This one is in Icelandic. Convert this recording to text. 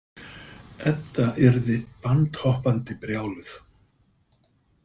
Edda yrði bandhoppandi brjáluð.